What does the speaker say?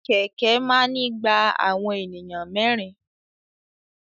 Kẹ̀kẹ́ máa ni gba awọn ènìyàn mẹrin.